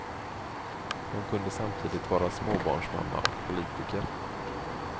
Hon kunde samtidigt vara småbarnsmamma och politiker.